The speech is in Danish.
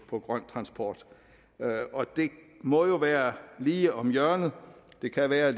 på grøn transport det må jo være lige om hjørnet det kan være at